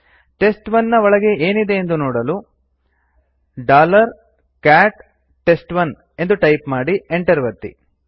test one ನ ಒಳಗೆ ಏನಿದೆ ಎಂದು ನೋಡಲು ಕ್ಯಾಟ್ ಟೆಸ್ಟ್1 ಎಂದು ಟೈಪ್ ಮಾಡಿ enter ಒತ್ತಿ